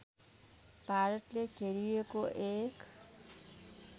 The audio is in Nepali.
भारतले घेरिएको एक